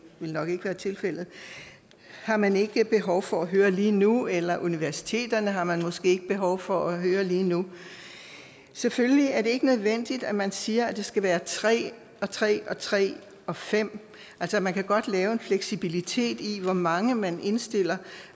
vil nok ikke være tilfældet har man ikke behov for at høre lige nu eller at universiteterne har man måske ikke behov for at høre lige nu selvfølgelig er det ikke nødvendigt at man siger at det skal være tre og tre og tre og fem altså man kan godt lave en fleksibilitet i hvor mange man indstiller